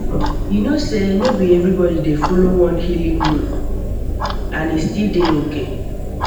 you know sey no be everybody dey follow one healing road ah and e still dey okay